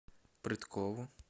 прыткову